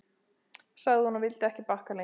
sagði hún, og vildi ekki bakka lengra.